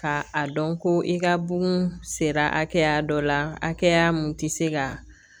Ka a dɔn ko i ka bugun sera hakɛya dɔ la hakɛya mun ti se ka